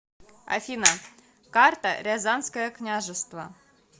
афина карта рязанское княжество